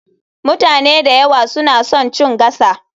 Mutane da yawa suna son chin gasa.